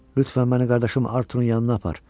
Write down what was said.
Lütfən məni qardaşım Arturun yanına apar.